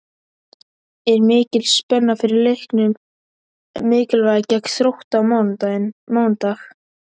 Er mikil spenna fyrir leiknum mikilvæga gegn Þrótti á mánudag?